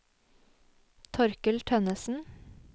Torkel Tønnesen